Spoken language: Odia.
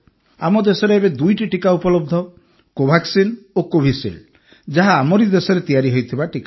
ଆମ ଦେଶରେ ଏବେ ଦୁଇଟି ଟିକା ଉପଲବ୍ଧ କୋଭାକ୍ସିନ ଓ କୋଭିସିଲ୍ଡ ଯାହା ଆମରି ଦେଶରେ ତିଆରି ହୋଇଥିବା ଟିକା